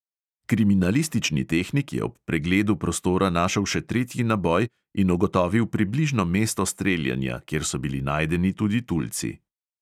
Kriminalistični tehnik je ob pregledu prostora našel še tretji naboj in ugotovil približno mesto streljanja, kjer so bili najdeni tudi tulci.